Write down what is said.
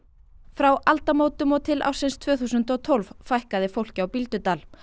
frá aldamótum og til ársins tvö þúsund og tólf fækkaði fólki á Bíldudal